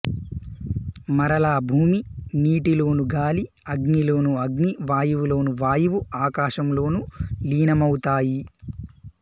మరలా భూమి నీటిలోను గాలి అగ్ని లోను అగ్ని వాయువులోను వాయువు ఆకాశంలోను లీనమౌతాయి